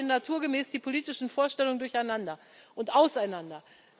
Da gehen naturgemäß die politischen Vorstellungen durcheinander und auseinander.